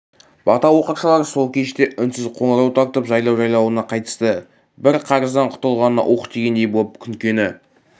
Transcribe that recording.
бата оқыршылар сол кеште үнсіз қоңыр тартып жайлау-жайлауына қайтысты бір қарыздан құтылғанына уһ дегендей боп күнкені